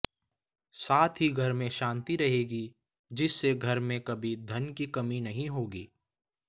साथ ही घर में शांति रहेगी जिससे घर में कभी धन की कमी नही होगी